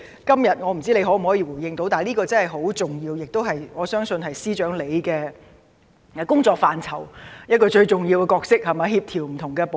今天我不知道司長可會回應，但這方面確實很重要，我相信司長工作範疇中的一個最重要部分，是協調不同部門。